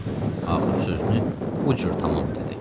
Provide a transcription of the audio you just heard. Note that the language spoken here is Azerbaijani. Axır sözünü bu cür tamam elədi.